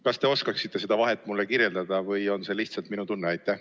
Kas te oskaksite seda vahet mulle kirjeldada või on see lihtsalt minu tunne?